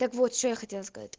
так вот что я хотела сказать